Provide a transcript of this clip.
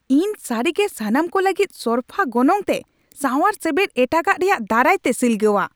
ᱤᱧ ᱥᱟᱹᱨᱤᱜᱮ ᱥᱟᱱᱟᱢ ᱠᱚ ᱞᱟᱹᱜᱤᱫ ᱥᱚᱨᱯᱷᱟ ᱜᱚᱱᱚᱝ ᱛᱮ ᱥᱟᱶᱟᱨ ᱥᱮᱵᱮᱫ ᱮᱴᱟᱜᱟᱜ ᱨᱮᱭᱟᱜ ᱫᱟᱨᱟᱭ ᱛᱮ ᱥᱤᱞᱜᱟᱹᱣᱟ ᱾